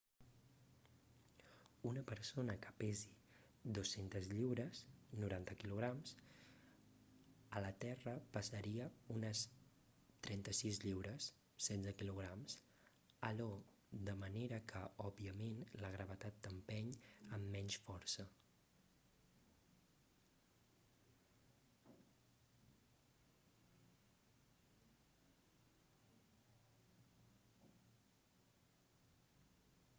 una persona que pesi 200 lliures 90 kg a la terra pesaria unes 36 lliures 16 kg a io de manera que òbviament la gravetat t'empeny amb menys força